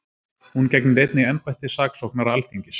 Hún gegnir einnig embætti saksóknara Alþingis